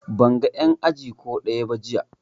Ban ga en aji ko ɗaya ba jiya